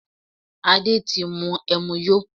Adé ti mú ẹmu yó